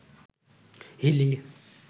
Hili